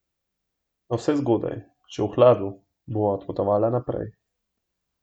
Navsezgodaj, še v hladu, bova odpotovala naprej.